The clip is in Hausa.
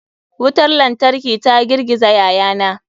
Wutar lantarki ta girgiza yayana.